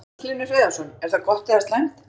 Magnús Hlynur Hreiðarsson: Er það gott eða slæmt?